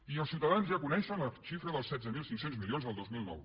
i els ciutadans ja coneixen la xifra dels setze mil cinc cents milions del dos mil nou